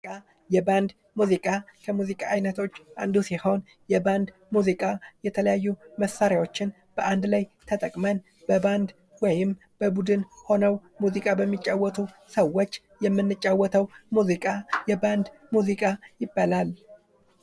የባንድ ሙዚቃ ከሙዚቃ አይነቶች ዉስጥ አንዱ ሲሆን የባንድ ሙዚቃ የተለያዩ መሳሪያዎችን በአንድ ላይ ተጠቅመን በበአንድ ወይም በቡድን ሆነው ሙዚቃ በሚጫወቱ ሰዎች የምንጫወተው ሙዚቃ የባንድ ሙዚቃ ይባላል።